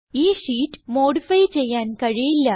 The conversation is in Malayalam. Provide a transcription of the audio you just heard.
ഈ ഷീറ്റ് മോഡിഫൈ ചെയ്യാൻ കഴിയില്ല